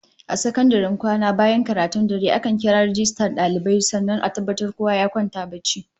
A sakandaren kwana bayan karatun dare, ana kiran rajistan dalibai sannan a tabbatar kowa ya kwanta barci